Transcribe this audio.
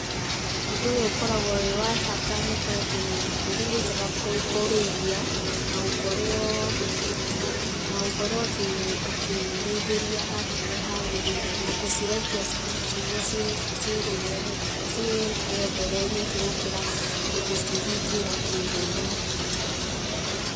Ũndũ ũyũ ũkoragwo wĩ wa bata nĩtondũ, mbũri nĩnjega kũrĩithia, na gũkorwo, na gũkorwo ũkĩ ũkĩrĩithĩria handũ harĩa hagĩrĩire, na gũcirekia nĩguo ciĩ ciĩrĩre ciĩyethere nyeki gũkĩra gũcingĩra kiugũinĩ.